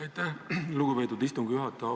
Aitäh, lugupeetud istungi juhataja!